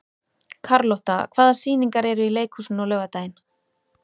Karlotta, hvaða sýningar eru í leikhúsinu á laugardaginn?